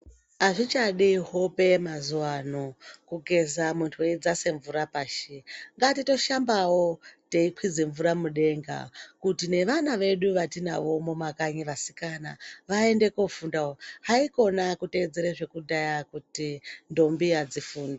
Azvichadi hope mazuwa anobkugeza munthu weidzase mvura pashi ngatitoshambawo teikwidze mvura mudenga kuti nevana vedu vatinavo vasikana vaende koofundawo haiwa kuteedzere zvekudhaya zvekuti ndombi adzifundi.